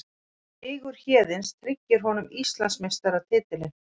Sigur Héðins tryggir honum Íslandsmeistaratitilinn